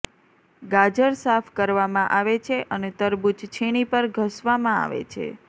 ગાજર સાફ કરવામાં આવે છે અને તરબૂચ છીણી પર ઘસવામાં આવે છે